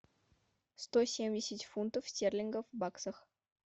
сто семьдесят фунтов стерлингов в баксах